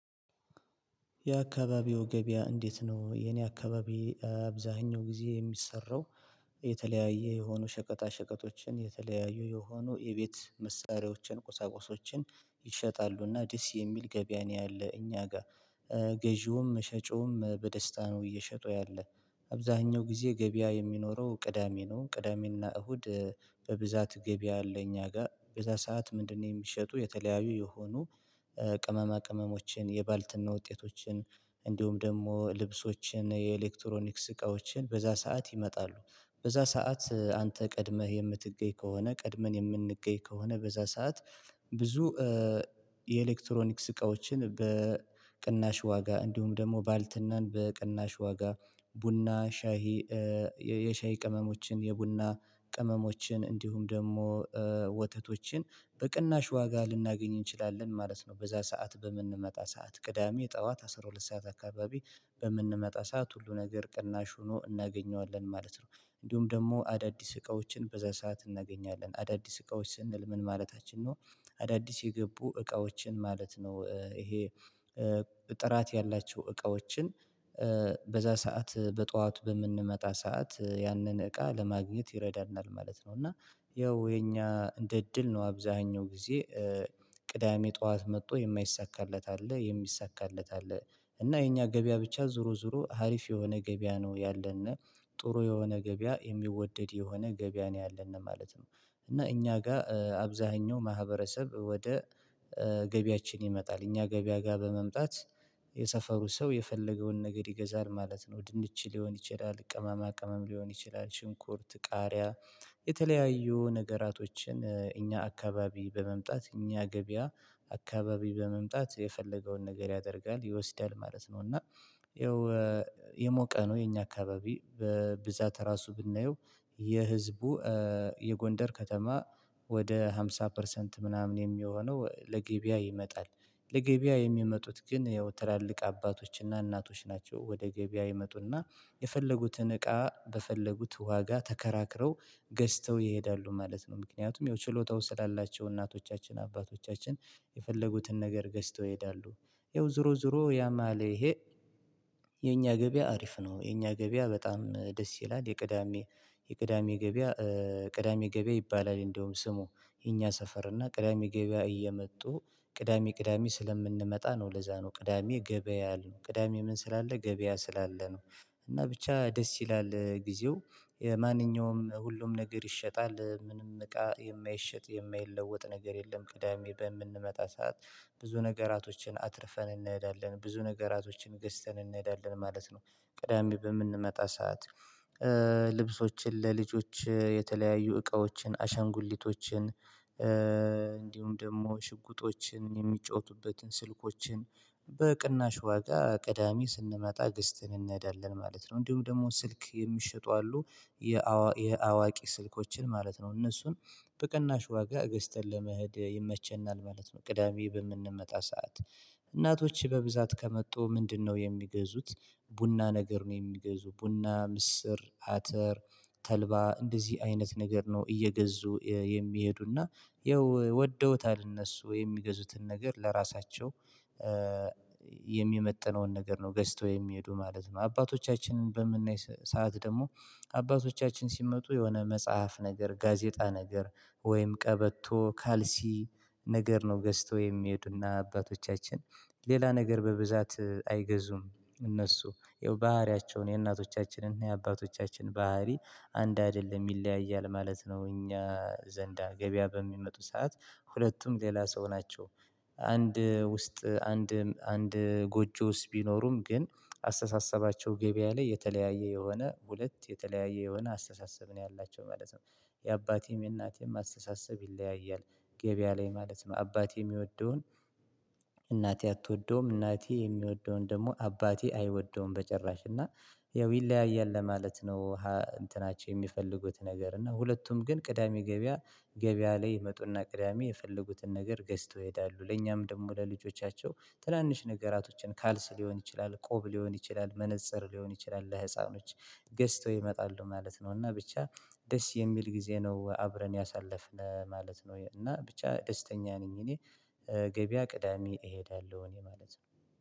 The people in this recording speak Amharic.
የአካባቢው ገበያ እንዴት ነው የኔ አካባቢ አብዛኛው ጊዜ የሚሰራው? የተለያየ የሆኑ ሸቀጣ ሸቀጦችን የተለያዩ የሆኑ የቤት መሳሪያዎችን ቁሳቁሶችን ይሸጣሉና ደስ የሚል ገበያ ነው ያለ እኛ ጋር። ገዢውም ሸጪውም በደስታ ነው እየሸጡ ያለ። አብዛኛው ጊዜ ገበያ የሚኖረው ቅዳሜ ነው ቅዳሜና እሁድ። በብዛት ገቢያ አለ እኛ ጋር በዛ ሰዓት ምንድነው? የሚሸጡ የተለያዩ የሆኑ ቅመማ ቅመሞችን የባልትና ውጤቶችን እንዲሁም ደግሞ ልብሶችን የኤሌክትሮኒክስ እቃዎችን በዛ ሰዓት ይመጣሉ በዛ ሰዓት አንተ ቀድመህ የምትገኝ ከሆነ ቀድመን የምንገኝ ከሆነ በዛ ሰዓት። ብዙ የኤሌክትሮኒክስ እቃዎችን በቅናሽ ዋጋ እንዲሁም ደግሞ ባልትናን በቅናሽ ዋጋ ቡና ሻሂ የሻይ ቅመሞችን የቡና ቅመሞችን እንዲሁም ደግሞ ወተቶችን በቅናሽ ዋጋ ልናገኝ እንችላለን ማለት ነው። በዛ ሰዓት በምንመጣ ሰዓት ቅዳሜ ጠዋት አስራ ሁለት ሰዓት አካባቢ በምንመጣ ሰዓት ሁሉ ነገር ቅናሽ ሆኖ እናገኘዋለን ማለት ነው። እንዲሁም ደግሞ አዳዲስ እቃዎችን በዛ ሰዓት እናገኛለን አዳዲስ እቃዎች ስንል ምን ማለታችን ነው? አዳዲስ የገቡ እቃዎችን ማለት ነው። ይሄ ጥራት ያላቸው እቃዎችን በዛ ሰዓት በጧቱ በምንመጣ ሰዓት ያንን እቃ ለማግኘት ይረዳናል ማለት ነው። እና ያው የኛ እንደ እድል ነው አብዛኛው ጊዜ። ቅዳሜ ጠዋት መጥቶ የማይሳካለት አለ የሚሳካለት አለ እና የኛ ገበያ ብቻ ዞሮ ዞሮ ሀሪፍ የሆነ ገበያ ነው። ያለና ጥሩ የሆነ ገበያ የሚወደድ የሆነ ገበያ ነው ያለን ማለት ነው። እና እኛ ጋር አብዛኛው ማህበረሰብ ወደ ገበያችን ይመጣል እኛ ገበያ ጋር በመምጣት የሰፈሩ ሰው የፈለገውን ነገር ይገዛል ማለት ነው። ድንች ሊሆን ይችላል ቅመማ ቅመም ሊሆን ይችላል ሽንኩርት ቃሪያ። የተለያዩ ነገራቶችን እኛ አካባቢ በመምጣት እኛ ገበያ አካባቢ በመምጣት የፈለገውን ነገር ያደርጋል ይወስዳል ማለት ነው። እና የው የሞቀ ነው። የኛ አካባቢ በብዛት ራሱ ብናየው የህዝቡ የጎንደር ከተማ ወደ ሃምሳ ፐርሰንት ምናምን የሚሆነው ለገቢያ ይመጣል። ለገበያ የሚመጡት ግን ያው ትላልቅ አባቶችና እናቶች ናቸው ወደ ገበያ ይመጡና የፈለጉትን እቃ በፈለጉት ዋጋ ተከራክረው ገዝተው ይሄዳሉ ማለት ነው። ምክንያቱም ያው ችሎታው ስላላቸው እናቶቻችን አባቶቻችን የፈለጉትን ነገር ገዝተው ይሄዳሉ። የው ዙሮ ዙሮ ያም አለ ይህ የኛ ገበያ አሪፍ ነው። የኛ ገበያ በጣም ደስ ይላል የቅዳሜ የቅዳሜ ገበያ ቅዳሜ ገበያ ይባላል። እንደውም ስሙ የኛ ሰፈር እና ቅዳሜ ገበያ እየመጡ ቅዳሜ ቅዳሜ ስለምንመጣ ነው። ለዛ ነው ቅዳሜ ገበያ አለ ቅዳሜ ምን ስላለ ገበያ ስላለ ነው። እና ብቻ ደስ ይላል ጊዜው የማንኛውም ሁሉም ነገር ይሸጣል ምንም እቃ የማይሸጥ የማይለወጥ ነገር የለም። ቅዳሜ በምንመጣ ሰዓት ብዙ ነገራቶችን አትርፈን እንሄዳለን ብዙ ነገራቶችን ገዝተን እንሄዳለን ማለት ነው። ቅዳሜ በምንመጣ ሰዓት። ልብሶችን ለልጆች የተለያዩ እቃዎችን አሻንጉሊቶችን እንዲሁም ደግሞ ሽጉጦችን የሚጫወቱበትን ስልኮችን በቅናሽ ዋጋ ቅዳሚ ስንመጣ ገስትን እንሄዳለን ማለት ነው። እንዲሁም ደግሞ ስልክ የሚሸጡ አሉ። የአዋቂ ስልኮችን ማለት ነው እነሱን በቅናሽ ዋጋ ገዝተን ለመሄድ ይመቸናል ማለት ነው። ቅዳሜ በምንመጣ ሰዓት እናቶች በብዛት ከመጡ ምንድነው የሚገዙት? ቡና ነገር ነው የሚገዙ ቡና ምስር አተር ተልባ እንደዚህ አይነት ነገር ነው እየገዙ የሚሄዱና። ይኸው ወደውታል እነሱ የሚገዙትን ነገር ለራሳቸው የሚመጥነውን ነገር ነው ገዝተው የሚሄዱ ማለት ነው። አባቶቻችንን በምናይ ሰዓት ደግሞ። አባቶቻችን ሲመጡ የሆነ መጽሐፍ ነገር ጋዜጣ ነገር ወይም ቀበቶ ካልሲ ነገር ነው ገዝተው የሚሄዱና አባቶቻችን። ሌላ ነገር በብዛት አይገዙም። እነሱ የው ባህሪያቸውን የእናቶቻችንን የአባቶቻችን ባህሪ አንድ አይደለም ይለያያል ማለት ነው። እኛ ዘንዳ ገበያ በሚመጡ ሰዓት ሁለቱም ሌላ ሰው ናቸው። አንድ ውስጥ አንድ አንድ ጎጆ ውስጥ ቢኖሩም ግን አስተሳሰባቸው ገበያ ላይ የተለያየ የሆነ ሁለት የተለያየ የሆነ አስተሳሰብ ነው ያላቸው ማለት ነው። የአባቴም የእናቴም አስተሳሰብ ይለያያል። ገበያ ላይ ማለት ነው አባቴ የሚወደውን እናቴ አትወደውም እናቴ የሚወደውን ደግሞ አባቴ አይወደውም በጭራሽ እና ያው ይለያያል ለማለት ነው። እንትናቸው የሚፈልጉት ነገር እና ሁለቱም ግን ቅዳሜ ገበያ። ገበያ ላይ ይመጡና ቅዳሜ የፈለጉትን ነገር ገዝተው ይሄዳሉ ለእኛም ደግሞ ለልጆቻቸው ትናንሽ ነገራቶችን ካልስ ሊሆን ይችላል ቆብ ሊሆን ይችላል መነፀር ሊሆን ይችላል ለህፃኖች ገዝተው ይመጣሉ ማለት ነው። እና ብቻ ደስ የሚል ጊዜ ነው አብረን ያሳለፍነው ማለት ነው። እና ብቻ ደስተኛ ነኝ። እኔ ገበያ ቅዳሜ እሄዳለሁ እኔ ማለት ነው።